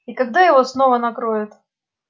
и когда его снова накроют